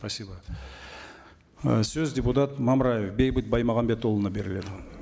спасибо ы сөз депутат мамраев бейбіт баймағамбетұлына беріледі